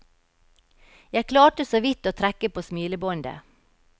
Jeg klarte såvidt å trekke på smilebåndet.